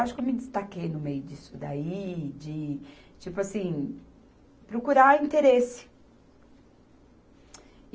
Eu acho que me destaquei no meio disso daí, de, tipo assim, procurar interesse.